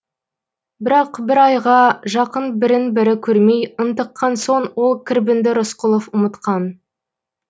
бірақ бір айға жақын бірін бірі көрмей ынтыққан соң ол кірбіңді рысқұлов ұмытқан